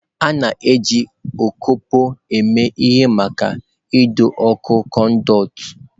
A na-eji ọkpọkọ eme ihe maka ido ọ́kụ̀ konduiti.